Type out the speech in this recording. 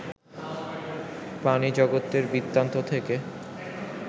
প্রাণিজগতের বৃত্তান্ত থেকে